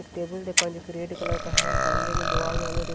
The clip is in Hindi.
एक टेबल देख पाए जोकि रेड कलर का है सामने में दीवाल --